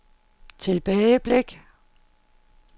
tilbageblik